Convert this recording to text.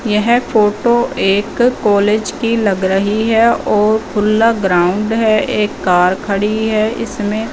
यह फोटो एक कॉलेज की लग रही है और खुला ग्राउंड है एक कार खड़ी है इसमें--